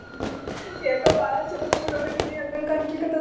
ಯಾಕೋ ಬಾಳ ಚುಲೊ mood ಇದಿ ಅಂದಂಗ ಕಾಣಿಸ್ಲಿಕತ್ತದ.